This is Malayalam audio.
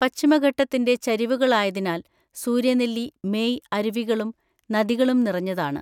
പശ്ചിമഘട്ടത്തിന്റെ ചരിവുകളിലായതിനാൽ സൂര്യനെല്ലി മേയ് അരുവികളും നദികളും നിറഞ്ഞതാണ്.